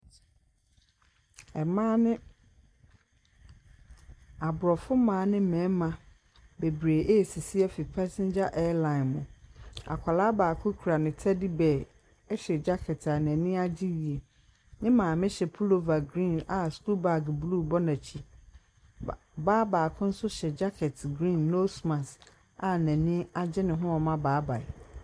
Mmaa ne aborɔfo mmaa ne mmarima bebree resisi afiri passenger airline mu. Akwadaa baako kura ne teddy bear hyɛ jacket a n'ani agye yie. Ne maame hyɛ pullover green a school bag blue bɔ n'akyi. Ba baa baako nso hyɛ jacket green, nose mask a n'ani agye ne ho a ɔrema baebae.